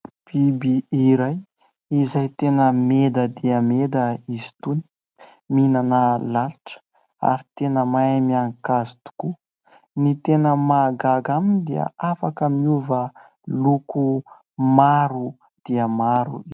Biby iray izay tena meda dia meda izy itony, mihinana lalitra ary tena mahay mihanika hazo tokoa, ny tena mahagaga aminy dia afaka miova loko maro dia maro.